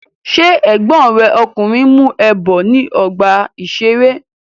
Ṣé ègbón rẹ ọkùnrin ń mú ẹ bọ̀ ní ọgbà-ìṣeré?